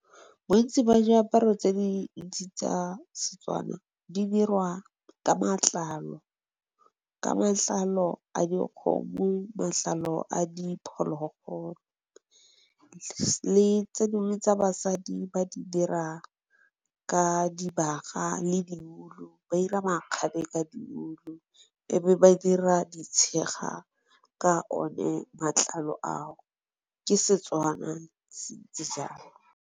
Bontsi ba diaparo tse di ntsi tsa setswana di diriwa ka matlalo, ka matlalo a dikgomo, matlalo a diphologolo. Le tse dingwe tsa basadi ba di dira ka dibaga le di ulu, ba ira makgabe ka di ulu e be ba dira di tshega ka o ne matlalo ao ke setswana se ntse jalo.